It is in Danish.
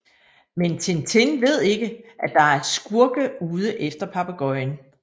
Men Tintin ved ikke at der er skurke ude efter papegøjen